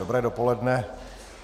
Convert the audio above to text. Dobré dopoledne.